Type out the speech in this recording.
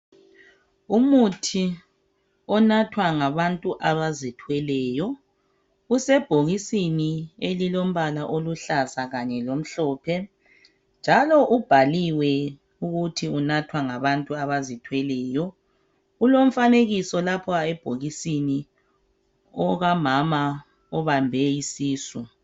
umuthi onathwa ngabantu abazithweleyo usebhokisini elilompala oluhlaza kanye lomhlophe njalo ubhalilwe ukuthi unathwa ngabantu abazithweleyo kulomfanekiso lapha ebhokisini okamama obambe isisu